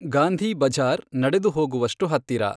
ಗಾಂಧಿಬಜಾರ್ ನಡೆದುಹೋಗುವಷ್ಟು ಹತ್ತಿರ.